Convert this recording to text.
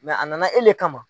a nana e le kama.